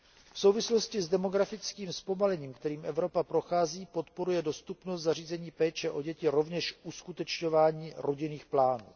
V souvislosti s demografickým zpomalením, kterým Evropa prochází, podporuje dostupnost zařízení péče o děti rovněž uskutečňování rodinných plánů.